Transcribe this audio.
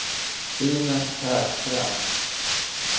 Inez Högström